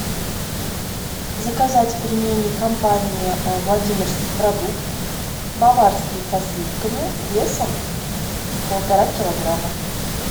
заказать пельмени компании владимирский продукт баварские со сливками весом полтора килограмма